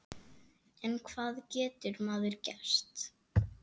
En hvað getur maður gert?